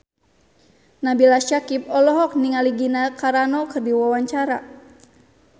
Nabila Syakieb olohok ningali Gina Carano keur diwawancara